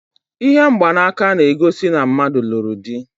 Ihe mgbanaka na-egosi na mmadụ lụrụ dị.